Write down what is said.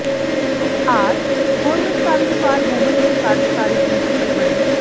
R government college for women ਦੇ ਕਾਰਜਕਾਰੀ principal ਬਣੇ